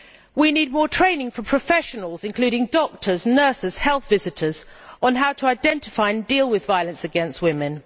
We need more training for professionals, including doctors, nurses and health visitors, on how to identify and deal with violence against women.